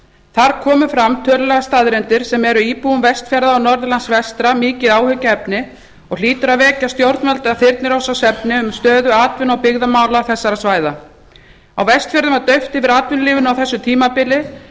þar komu fram tölulegar staðreyndir sem eru íbúum vestfjarða og norðurlands vestra mikið áhyggjuefni og hlýtur að vekja stjórnvöld af þyrnirósarsvefni um stöðu atvinnu og byggðamála þessara svæða á vestfjörðum var dauft yfir atvinnulífinu á þessu tímabili